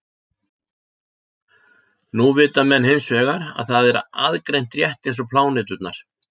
Nú vita menn hins vegar að það er aðgreint rétt eins og pláneturnar.